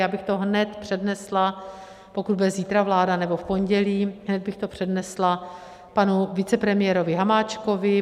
Já bych to hned přednesla, pokud bude zítra vláda, nebo v pondělí, hned bych to přednesla panu vicepremiérovi Hamáčkovi.